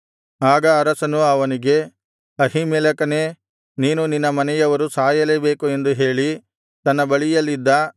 ಆಗ ಅರಸನು ಅವನಿಗೆ ಅಹೀಮೆಲೆಕನೇ ನೀನೂ ನಿನ್ನ ಮನೆಯವರೂ ಸಾಯಲೇ ಬೇಕು ಎಂದು ಹೇಳಿ ತನ್ನ ಬಳಿಯಲ್ಲಿದ್ದ